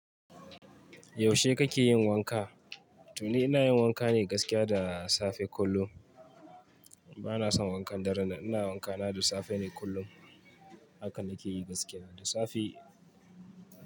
Yaushe kake yin wanka? Toni ina yin wanka ne gaskiya da safe kullu. Bana son wankan darenan. Ina wanka na da safe ne kullun haka na ke yi gaskiya da safe.